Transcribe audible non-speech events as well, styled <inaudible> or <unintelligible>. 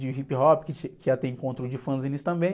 De hip hop, <unintelligible> que já tem encontro de fanzines também.